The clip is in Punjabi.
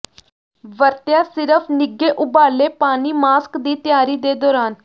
ਵਰਤਿਆ ਸਿਰਫ ਨਿੱਘੇ ਉਬਾਲੇ ਪਾਣੀ ਮਾਸਕ ਦੀ ਤਿਆਰੀ ਦੇ ਦੌਰਾਨ